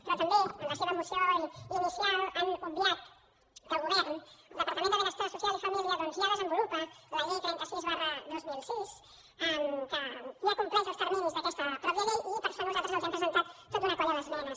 però també en la seva moció inicial han obviat que el govern el departament de benestar social i família doncs ja desenvolupa la llei trenta sis dos mil sis que ja compleix els terminis d’aquesta mateixa llei i per això nosaltres els hem presentat tota una colla d’esmenes